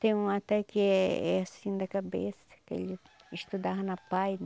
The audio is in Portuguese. Tem um até que é é assim da cabeça, que ele estudava na Apae